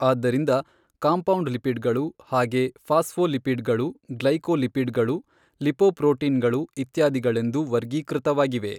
ಆದ್ದರಿಂದ compound lipid ಗಳು ಹಾಗೆ ಫಾಸ್ಫೋಲಿಪಿಡ್ ಗಳು ಗ್ಲೈಕೋಲಿಪಿಡ್ ಗಳು ಲಿಪೊಪ್ರೋಟೀನ್ ಗಳು ಇತ್ಯಾದಿಗಳೆಂದು ವರ್ಗೀಕೃತವಾಗಿವೆ.